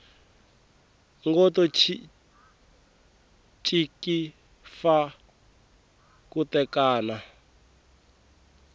ngo tinciki fa thuketana